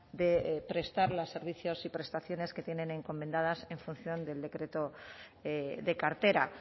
de prestar los servicios y prestaciones que tienen encomendadas en función del decreto de cartera